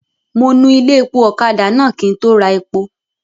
Mo nu ilé-epo ọ̀kadà náà kí n tó ra epo.